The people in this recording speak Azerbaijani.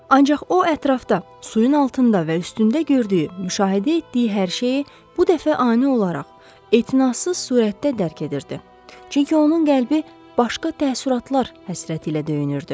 Ancaq o ətrafda suyun altında və üstündə gördüyü, müşahidə etdiyi hər şeyi bu dəfə ani olaraq, etinasız surətdə dərk edirdi, çünki onun qəlbi başqa təəssüratlar həsrəti ilə döyünürdü.